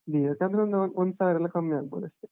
Dio ಕೆ ಅಂದ್ರೆ ಒಂದು, ಒಂದ್ ಸಾವಿರ ಎಲ್ಲಾ ಕಮ್ಮಿ ಆಗ್ಬೋದಷ್ಟೇ.